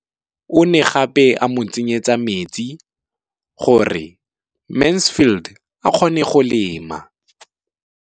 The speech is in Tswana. O ne gape a mo tsenyetsa metsi gore Mansfield a kgone go lema.